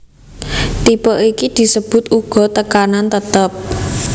Tipe iki disebut uga tekanan tetep